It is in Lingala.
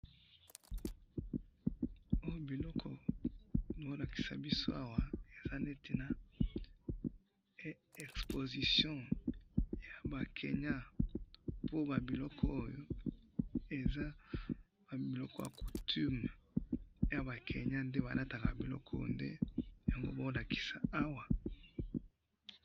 Oo biloko bao lakisa biso awa, eza neti na exposition, yaba kenya, po babiloko oyo! eza babiloko ya coutume, ya bakenya nde balataka biloko oyo, nde yango baolakisa awa